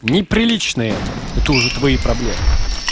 неприлично это это уже твои проблемы